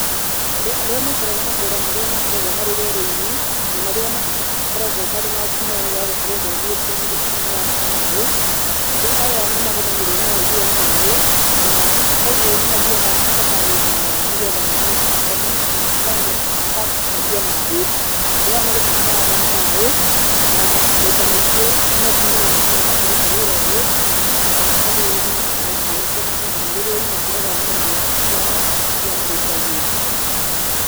Andũ arĩa maikaraga matũũra marĩa makoragwo marĩ werũ-inĩ na marĩa makoragwo marĩ na ngumo ya gũkorwo momĩte, nĩ gũtaha marataha maaĩ. Andũ aya nĩ magũgĩrwo nĩ wagi wa maaĩ na koguo nĩ mathiaga thabarĩ ndaya nĩgetha mathiĩ makone, magacarie maaĩ. Andũ aya nĩ gũtaha marataha maaĩ na maita maingĩ nĩ atumia makoragwo makĩruta wĩra ũyũ nao athuri na anake makoragwo marĩ rũru makĩrora nyamũ ciao iria marĩithagia.